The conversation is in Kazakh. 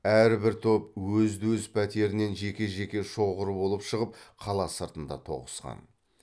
әрбір топ өзді өз пәтерінен жеке жеке шоғыр болып шығып қала сыртында тоғысқан